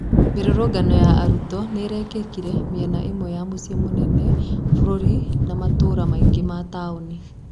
Mĩrũrũgano ya arutwo nĩ-ĩrekĩkire mĩena ĩmwe ya mũcĩĩ mũnene bũrũri na matũra mangĩ ma taonĩ.